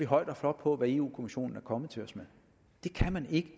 højt og flot på hvad europa kommissionen er kommet til os med det kan man ikke